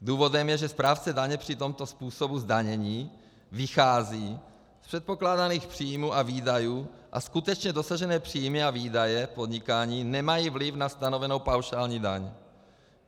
Důvodem je, že správce daně při tomto způsobu zdanění vychází z předpokládaných příjmů a výdajů a skutečně dosažené příjmy a výdaje v podnikání nemají vliv na stanovenou paušální daň.